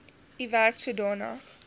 u werk sodanig